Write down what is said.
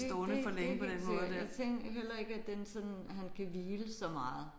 Det det det er helt sikkert. Jeg tænkte heller ikke at den sådan han kan hvile så meget